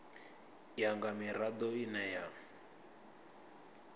ya nga mirado ine ya